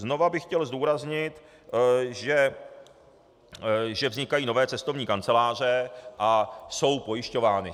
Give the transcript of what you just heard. Znova bych chtěl zdůraznit, že vznikají nové cestovní kanceláře a jsou pojišťovány.